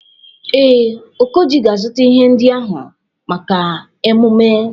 Ee, Okoji ga-azụta ihe ndị ahụ maka emume.